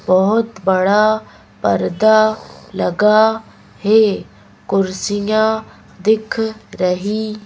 बहुत बड़ा पर्दा लगा है कुर्सियां दिख रही।